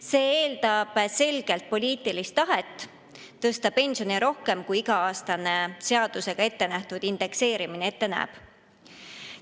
See eeldab selget poliitilist tahet tõsta pensione rohkem kui iga-aastane seadusega ettenähtud indekseerimine ette näeb.